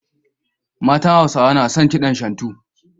Matan Hausawa na son kidan Shantu.